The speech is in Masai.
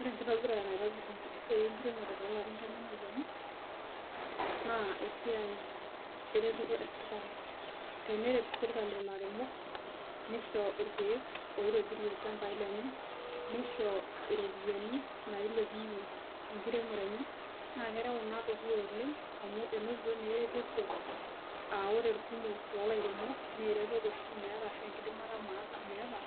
Ore ekitobirata naitobir esiai ekiremore too larin tomon ooponu naa esiai eretoto esirkali teneret sirkali ilairemok nisho irkek oitobirie ilchambai lenye nishoo iropiyani nailepunye ekiremore enye naa kereu ina dukuya oleng amu enotito naa eretoto ah ore kumok loo lairemok naa eretoto oshi imeaata ashu ekidimata meata